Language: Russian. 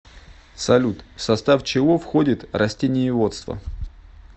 салют в состав чего входит растениеводство